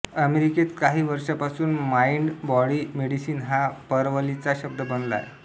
अमेरिकेत काही वर्षांपासून माइंड बॉडी मेडिसीन हा परवलीचा शब्द बनला आहे